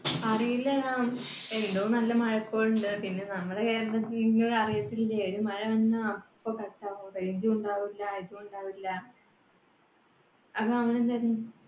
അറിയില്ല. എന്തോ നല്ല മഴക്കോളുണ്ട്. പിന്നെ നമ്മളെ കേരളത്തിന്നു അറിയത്തില്ല്യെ? ഒരു മഴ വന്ന അപ്പൊ cut ആവും. range ഉം ഉണ്ടാവൂല്ല ഉണ്ടാവൂല്ല,